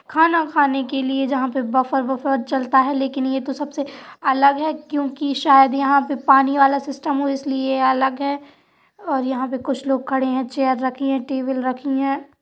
खाना खाने के लिए जहां बफर वफर चलता है लेकिन यह तो सबसे अलग है क्योंकि शायद यहाँं पर पानी वाला सिस्टम हो इसलिए अलग है और यहाँं पर कुछ लोग खड़े हैं चेयर रखी है टेबल रखी हैं।